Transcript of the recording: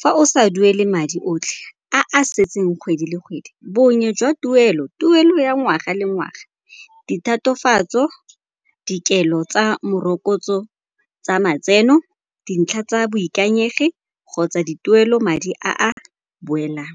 Fa o sa duele madi otlhe a a setseng kgwedi le kgwedi, bongwe jwa tuelo, tuelo ya ngwaga le ngwaga, dithatofatso, dikelo tsa morokotso tsa matseno, dintlha tsa boikanyegi kgotsa dituelo madi a a boelang.